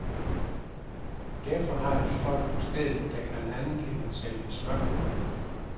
Derfor har de folk på stedet, der kan andet end at sælge smør.